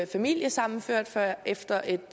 familiesammenført før efter en